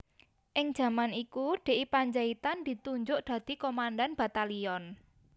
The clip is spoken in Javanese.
Ing jaman iku D I Pandjaitan ditunjuk dadi Komandan Batalyon